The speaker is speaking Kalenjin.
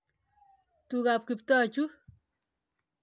Tugap Kiptoo chu.